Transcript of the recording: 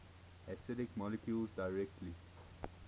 acidic molecules directly